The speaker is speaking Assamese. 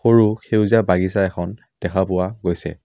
ৰু সেউজীয়া বাগিছা এখন দেখা পোৱা গৈছে।